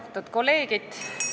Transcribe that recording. Austatud kolleegid!